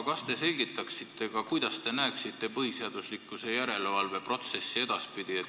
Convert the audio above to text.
Kas te selgitaksite ka, kuidas te näete põhiseaduslikkuse järelevalve protsessi edaspidi?